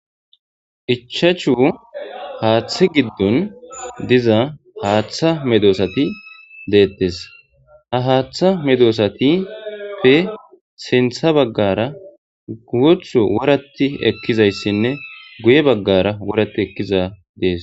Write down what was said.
Ichashu hatha giddoni didda hatha medosati betesi. Ha hatha medosatappe sinitha bagara guthu worati bettese.